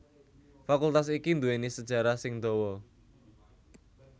Fakultas iki nduwèni sejarah sing dawa